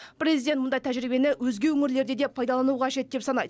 президент мұндай тәжірибені өзге өңірлерде де пайдалану қажет деп санайды